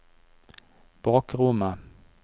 bakrommet